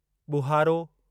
ॿुहारो